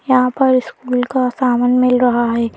यहां पर स्कूल का सामान मिल रहा है।